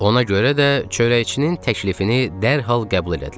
Ona görə də çörəkçinin təklifini dərhal qəbul elədilər.